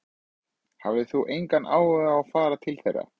Hafðir þú engan áhuga á að fara til þeirra?